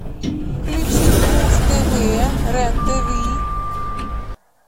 включить муз тв рен тв